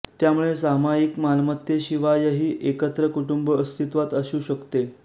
त्यामुळे सामायिक मालमत्तेशिवायही एकत्र कुटुंब अस्तित्वात असू शकते